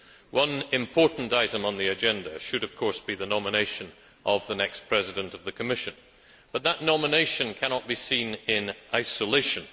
One important item on the agenda should, of course, be the nomination of the next President of the Commission, but that nomination cannot be seen in isolation.